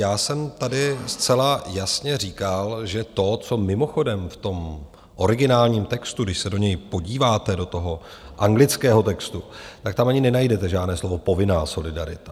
Já jsem tady zcela jasně říkal, že to, co mimochodem v tom originálním textu, když se do něj podíváte, do toho anglického textu, tak tam ani nenajdete žádné slovo "povinná" solidarita.